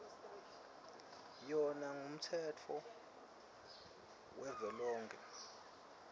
yona ngumtsetfo wavelonkhe